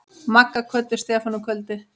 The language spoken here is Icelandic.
Magga kvöddu Stefán um kvöldið.